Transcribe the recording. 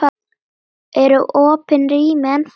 Eru opin rými ennþá málið?